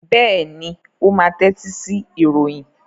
Bẹ́ẹ̀ ni, ó máa tẹ́tí sí ìròyìn.